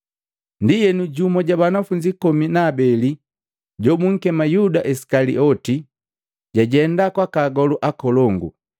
Ndienu jumu ja banafunzi komi na abeli jobukema Yuda Isikalioti, jajenda kwaka agolu akolongu,